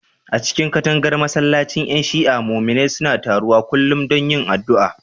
A cikin katangar masallacin ƴan Shi'a, muminai suna taruwa kullum don yin addu'a.